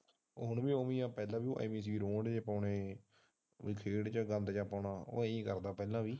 ਹੁਣ ਵੀ ਉਹ ਹੀ ਹੈ ਪਹਿਲਾ ਵੀ ਉਹ ਹੀ ਸੀ ਰੋਂਦ ਜਿਹਾ ਪਾਉਣੇ ਖੇਡ ਵਿੱਚ ਗੰਦ ਪਾਉਣਾ ਉਹ ਇਹ ਹੀ ਕਰਦਾ ਪਹਿਲਾ ਵੀ।